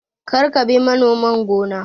Kar ka bi manoman gona!